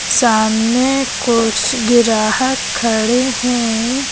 सामने कुछ ग्राहक खड़े हैं।